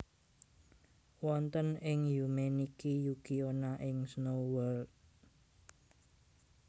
Wonten ing Yume Nikki Yuki Onna ing Snow World